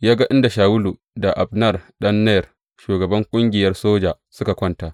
Ya ga inda Shawulu da Abner ɗan Ner shugaban ƙungiyar soja suka kwanta.